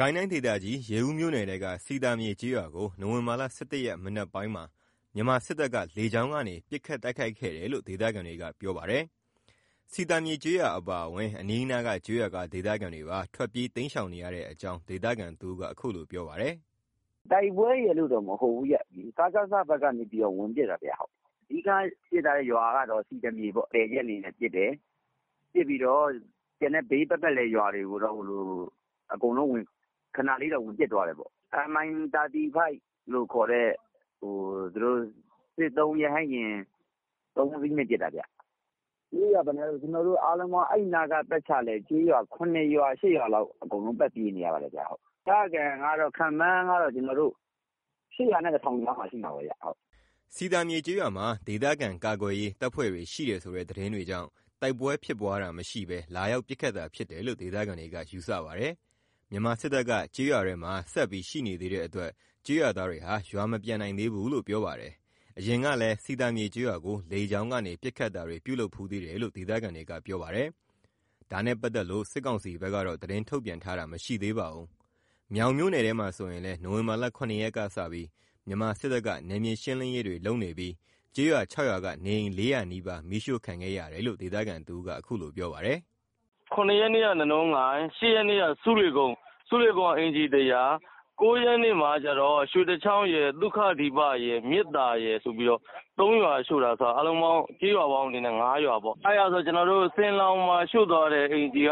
ကိုင်းတိုင်းဒေသကြီး ရေဦးမြို့နယ်ထဲက စည်သာမြေကျေးရွာကို နိုဝင်ဘာ ၁၁ ရက် မနက်ပိုင်းမှာ မြန်မာစစ်တပ်က လေကြောင်းကနေ ပစ်ခတ်တိုက်ခိုက်ခဲ့တယ်လို့ ဒေသခံတွေက ပြောပါတယ်။ စည်သာမြေကျေးရွာအပါအဝင် အနီးအနားက ကျေးရွာက ဒေသခံတွေပါ ထွက်ပြေးတိမ်းရှောင်နေရတဲ့အကြောင်း ဒေသခံတဦးက ပြောပါတယ်။ “တိုက်ပွဲရယ်လို့တော့မဟုတ်ဘူး စကစ ဘက်ကနေ ဝင်ပစ်တာ အဓိက ဝင်ပစ်တာကတော့ စည်သာမြေပေါ့ ။ တည်ကြက်အနေနဲ့ ပစ်တယ်။ ပစ်ပြီးတော့ ကျန်တဲ့ဘေးပတ်ပတ်လည်ရွာတွေကိုတော့ အကုန်ခဏလေးတော့ ဝင်ပစ်သွားတယ်ပေါ့။ Mi35 လို့ခေါ်တဲ့ သူတို့ စစ်သုံး ရဟတ်ယာဉ် ၃ စီးနဲ့ ပစ်တာ။ ပြေးနေရတာက ကျွန်တော်တို့ ဘေးနားက ကျေးရွာ ၇ ရွာ ၈ ရွာလောက်က ပတ်ပြေးနေရတယ်။ ခန့်မှန်းကတော့ ဒေသခံ ၈၀၀ နဲ့ ၁ ထောင်ကြားလောက်မှာ ရှိမယ်။” စည်သာမြေကျေးရွာမှာ ဒေသခံကာကွယ်ရေးတပ်ဖွဲ့ PDF တွေရှိတယ်ဆိုတဲ့ သတင်းတွေကြောင့် တိုက်ပွဲဖြစ်ပွားတာမရှိဘဲ လာရောက်ပစ်ခတ်တာဖြစ်တယ်လို့ ဒေသခံတွေက ယူဆပါတယ်။ မြန်မာစစ်တပ်က ကျေးရွာထဲမှာ ရှိနေသေးတဲ့အတွက် ကျေးရွာသားတွေဟာ ရွာမပြန်နိုင်သေးဘူးလို့ ပြောပါတယ်။ အရင်ကလည်း စည်သာမြေကျေးရွာကို လေကြောင်းကနေ ပစ်ခတ်တာတွေ ပြုလုပ်ဖူးသေးတယ်လို့ ဒေသခံတွေက ပြောပါတယ်။ ဒါနဲ့ပတ်သက်လို့ စစ်ကောင်စီဘက်က သတင်းထုတ်ပြန်တာတော့ မရှိသေးပါဘူး။ မြောင်မြို့နယ်ထဲမှာဆိုရင်လည်း နိုဝင်ဘာ ၇ ရက်ကစပြီး မြန်မာစစ်တပ်က နယ်မြေရှင်းလင်းရေးတွေလုပ်နေပြီး ကျေးရွာ ၆ ရွာက နေအိမ် ၄၀၀ နီးပါး မီးရှို့ခံခဲ့ရတယ်လို့ ဒေသခံတဦးက အခုလိုပြောပါတယ်။ “၇ ရက်နေ့က နနွင်းကိုင်း ။ ၈ ရက်နေ့က ဆူးလေကုန်း။ ဆူးလေကုန်းက အိမ်ခြေ ၁၀၀လောက် ၉ ရက်နေ့မှာ ရွှေတချောင်းရယ် သုခဒီပရယ် မြစ်သာရယ်ဆိုပြီးတော့ ၃ ရွာရှို့တာဆိုတော့ ကျေးရွာပေါင်းအနေနဲ့ ၅ ရွာ ဆင်လောင်မှာ ရှို့သွားတဲ့ အိမ်ခြေက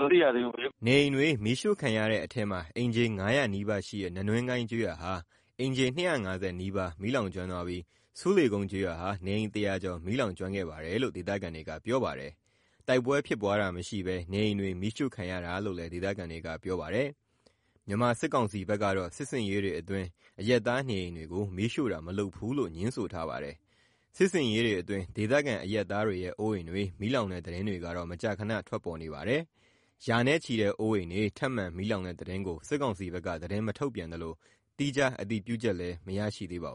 မသိရသေးဘူး။” နေအိမ်တွေ မီးရှို့ခံရတဲ့အထဲမှာ အိမ်ခြေ ၅၀၀ နီးပါးရှိတဲ့ နနွင်းကိုင်းကျေးရွာဟာ အိမ်ခြေ ၂၅၀ နီးပါး မီးလောင်ကျွမ်းသွားပြီး ဆူးလေကုန်းကျေးရွာဟာ နေအိမ် ၁၀၀ ကျော် မီးလောင်ကျွမ်းခဲ့ပါတယ်လို့ ဒေသခံတွေကပြောပါတယ်။ တိုက်ပွဲဖြစ်ပွားတာမရှိဘဲ နေအိမ်တွေမီးရှို့ခံရတာလို့လည်း ဒေသခံတွေက ပြောပါတယ်။ မြန်မာစစ်ကောင်စီဘက်ကတော့ စစ်ဆင်ရေးတွေအတွင်း အရပ်သားနေအိမ်တွေကို မီးရှို့တာ မလုပ်ဘူးလို့ ငြင်းဆိုထားပါတယ်။ စစ်ဆင်ရေးတွေအတွင်း ဒေသခံ အရပ်သားတွေရဲ့ အိုးအိမ်တွေ မီးလောင်တဲ့ သတင်းတွေကတော့ မကြာခန ထွက်ပေါ်နေပါတယ်။ ရာနဲ့ချီတဲ့ အိုးအိမ်တွေ ထပ်မံ မီးလောင်တဲ့သတင်းကို စစ်ကောင်စီဘက်က သတင်းမထုတ်ပြန်သလို သီးခြားအတည်ပြုချက်တော့ မရရှိသေးပါဘူး